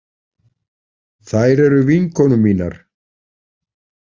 Þær eru vinkonur mínar.